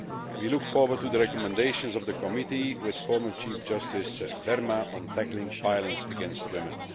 We look forward to the recommendations of the committee headed by former Chief Justice Verma on tackling violence against women.